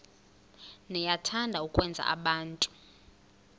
niyathanda ukwenza abantu